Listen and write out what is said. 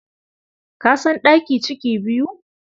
Ka san ɗaki ciki biyu?